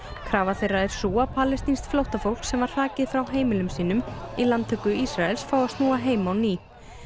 krafa þeirra er sú að palestínskt flóttafólk sem var hrakið frá heimilum sínum í landtöku Ísraels fái að snúa heim á ný